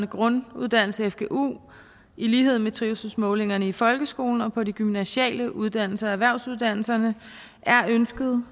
grunduddannelse fgu i lighed med trivselsmålingerne i folkeskolen og på de gymnasiale uddannelser erhvervsuddannelserne er ønsket